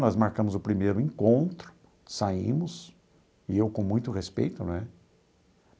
Nós marcamos o primeiro encontro, saímos, e eu com muito respeito, né?